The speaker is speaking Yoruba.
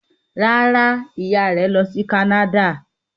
Rárá, ìyá rẹ̀ lọ sí Canada.